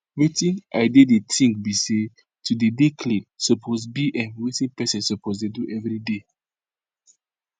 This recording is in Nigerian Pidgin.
wetin i dey i dey think bi say to dey dey clean suppose bi um wetin pesin suppose dey do everyday